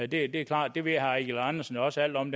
det er klart det ved herre eigil andersen også alt om